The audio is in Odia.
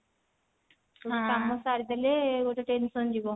ସବୁ କାମ ସାରିଦେଲେ ଗୋଟେ tension ଯିବ